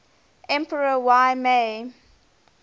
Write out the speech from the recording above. emperor y mei